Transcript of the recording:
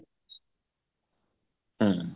ହୁଁ